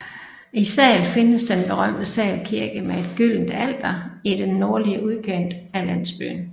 I Sahl findes den berømte Sahl Kirke med et gyldent alter i den nordlige udkant af landsbyen